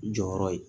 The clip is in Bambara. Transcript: Jɔyɔrɔ ye